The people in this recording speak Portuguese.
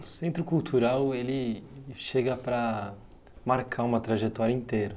O Centro Cultural, ele ele chega para marcar uma trajetória inteira.